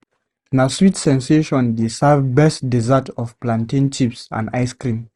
Na Sweet Sensation dey serve best dessert of plantain chips and ice cream.